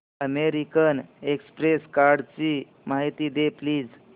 American Express कार्डची माहिती दे प्लीज